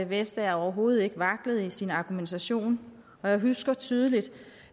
vestager overhovedet ikke vaklede i sin argumentation og jeg husker tydeligt